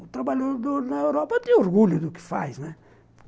O trabalhador na Europa tem orgulho do que faz, né?